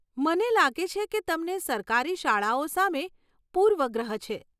મને લાગે છે કે તમને સરકારી શાળાઓ સામે પૂર્વગ્રહ છે.